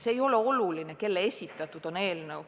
See ei ole oluline, kelle esitatud on eelnõu.